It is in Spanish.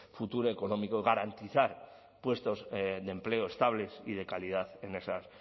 futuro económico garantizar puestos de empleo estables y de calidad en esas